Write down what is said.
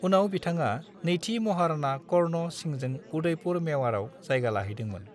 उनाव बिथाङा नैथि महाराणा कर्ण सिंहजों उदयपुर मेवाड़आव जायगा लाहैदोंमोन।